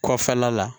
Kɔfɛla la